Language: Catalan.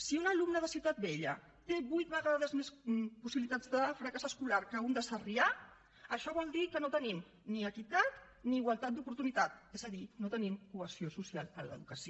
si un alumne de ciutat vella té vuit vegades més possibilitats de fracàs escolar que un de sarrià això vol dir que no tenim ni equitat ni igualtat d’oportunitats és a dir no tenim cohesió social en l’educació